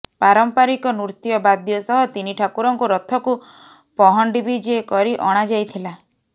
ପାରମ୍ପରିକ ନୃତ୍ୟବାଦ୍ୟ ସହ ତିନି ଠାକୁରଙ୍କୁ ରଥକୁ ପହଣ୍ଡି ବିଜେ କରି ଅଣ ଯାଇଥିଲା